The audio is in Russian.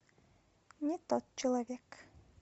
не тот человек